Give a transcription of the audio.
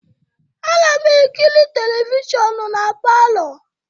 Ana m ekiri televishọnụ na palọ.